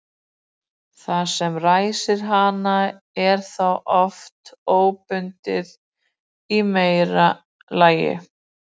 Það sem ræsir hana er þá oft óhlutbundið í meira lagi.